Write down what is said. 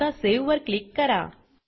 आता सावे वर क्लिक करा